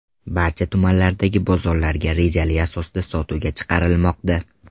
Barcha tumanlardagi bozorlarga rejali asosida sotuvga chiqarilmoqda.